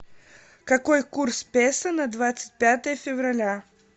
какой курс песо на двадцать пятое февраля